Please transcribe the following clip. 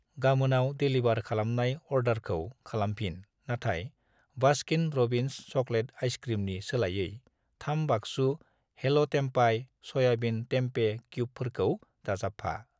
गामोनाव delivery खालामनाय अर्डारखौ खालामफिन नाथाय बास्किन र'बिन्स चकलेट आइसक्रिमनि सोलायै 3 बाक्सु हेल' टेम्पाय स'याबिन टेमपे क्युबफोरखौ दाजाबफा।